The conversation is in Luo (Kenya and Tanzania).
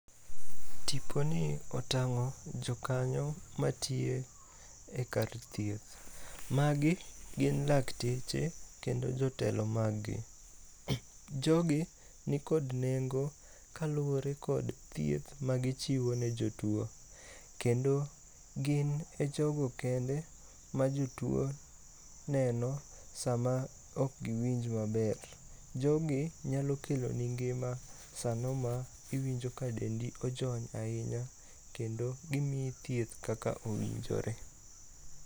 Tiponi otang'o jokanyo matiyo e kar thieth. Magi gin lakteche kendo jotelo maggi. Jogi nikod nengo kaluwore kod thieth magichiwo ne jotuo, kendo gin e jogo kendo ma jotuo neno sama ok giwinj maber. Jogi nyalo keloni ngima sano ma iwinjo ka dendi ojony ahinya kendo gimiyi thieth kaka owinjore.